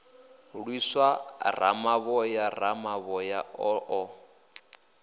lwisa ramavhoya ramavhoya o ḓo